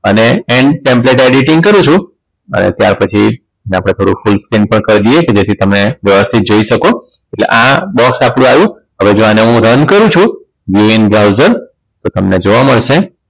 અને templet editing કરું છું અને ત્યાર પછી એને આપણે થોડુક full screen કરી દઈએ જેથી તમે વ્યવસ્થિત જોઈ શકો એટલે આ box આપણે આયુ હવે જો આને હું run કરું છું view in browser તો તમને જોવા મળશે